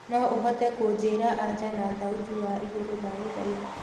no uhote kunjĩĩra anja na thaũti ya iguru ndagũthaĩtha